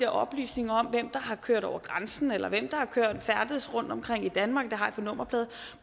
oplysninger om hvem der har kørt over grænsen eller hvem der har færdedes rundtomkring i danmark det har de på nummerplade